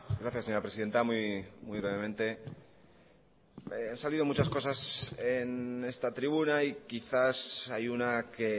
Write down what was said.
gracias señora presidenta muy brevemente han salido muchas cosas en esta tribuna y quizás hay una que